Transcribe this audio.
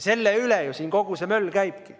Selle ümber ju siin kogu see möll käibki.